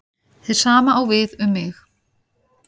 Hið sama á við um mig.